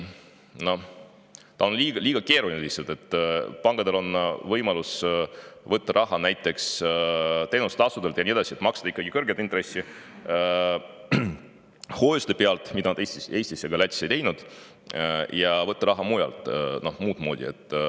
Pankadel on võimalus võtta raha näiteks teenustasude abil ja nii edasi, et maksta ikkagi kõrget intressi hoiuste pealt, mida nad Eestis ega Lätis ei teinud, võtta raha muud moodi.